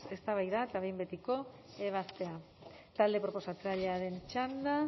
eztabaida eta behin betiko ebazpena talde proposatzailearen txanda